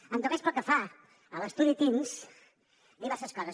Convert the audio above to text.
en tot cas pel que fa a l’estudi teens diverses coses